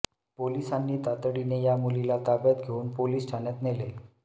पोलिसांनी तातडीने या मुलीला ताब्यात घेऊन पोलिस ठाण्यात नेले